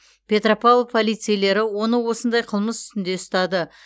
петропавл полицейлері оны осындай қылмыс үстінде ұстады